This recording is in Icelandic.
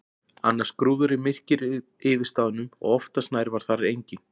Annars grúfði myrkrið yfir staðnum og oftast nær var þar enginn.